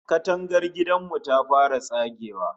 Katangar gidan mu ta fara tsagewa